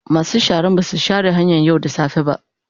Masu sharan ba su share hanyan yau da safe ba.